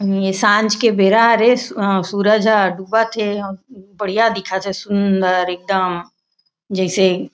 ए सांझ के बेरा हरे ए सूरज हा डूबत थे बढ़िया दिखत थे सुन्दर एकदम जैसे--